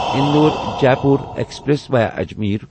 Indore Jaipur express via Ajmer